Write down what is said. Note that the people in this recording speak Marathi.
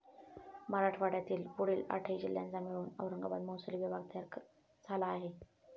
मराठवाड्यातील पुढील आठही जिल्ह्यांचा मिळून औरंगाबाद महसूली विभाग तयार झाला आहे.